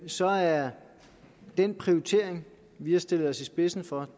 så er den prioritering vi har stillet os i spidsen for